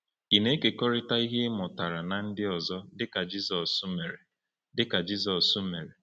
Ị na-ekekọrịta ihe ị mụtara na ndị ọzọ dịka Jizọs mere? dịka Jizọs mere?